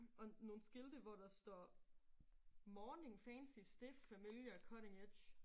Og nogle skilte hvor der står morning fancy stiff familiar cutting edge